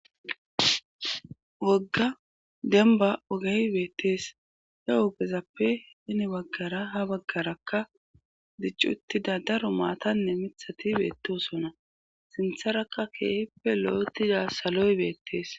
Wogga denba ogey beettees he ogezappe hini baggara ha baggarakka diccuttida daro maatanne mithati beettosona sintharaka keehippe lo7etida saloy beettees.